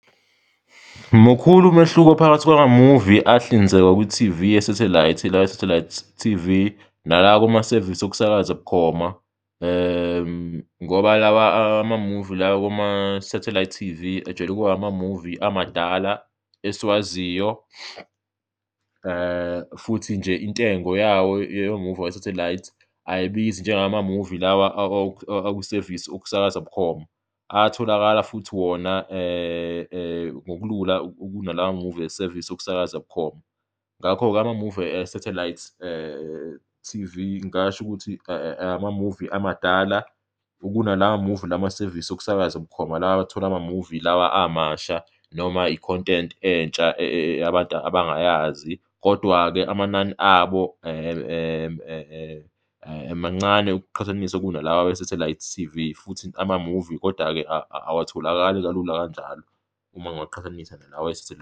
Mukhulu umehluko phakathi kwamamuvi ahlinzekwa kwi-T_V yesathelayithi, la e-satellite T_V nala akumasevisi wokusakaza bukhoma ngoba lawa amamuvi la akuma-satellite T_V ajwayele ukuba amamuvi amadala esiwaziyo futhi nje intengo yawo, yamamuvi wesathelayithi ayibizi njengeyamamuvi lawa akusevisi okusakaza bukhoma, atholakala futhi wona ngokulula kunalamamuvi esevisi ekusakaza bukhoma. Ngakho-ke amamuvi e-satellite T_V ngingasho ukuthi amamuvi amadala kunalamamuvi la masevisi okusakaza bukhoma, lawa athola amamuvi lawa amasha noma i-content entsha abantu abangayazi kodwa-ke amanani abo mancane ukuqhathanisa kunalawa awe-satellite T_V futhi amamuvi kodwa-ke awatholakali kalula kanjalo uma ngiwaqhathanisa nalawa esathelayi.